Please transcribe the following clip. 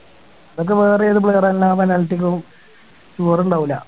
ഇതൊക്കെ വേറെ ഏത് player ആ എല്ലാ penalty ക്കും score ഉണ്ടാവൂല്ല